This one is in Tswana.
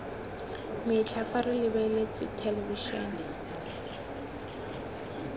metlha fa re lebeletse thelebišene